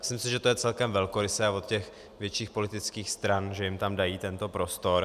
Myslím si, že to je celkem velkorysé od těch větších politických stran, že jim tam dají tento prostor.